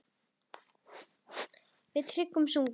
Við Tryggvi sungum